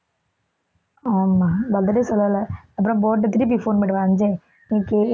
ஆமா பதிலே சொல்லல அப்புறம் போகட்டும் திருப்பி phone பண்ணிட்டு